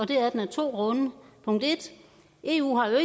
det er den af to grunde punkt 1 eu har jo